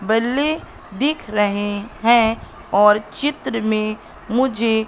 बल्ले दिख रहे है और चित्र में मुझे--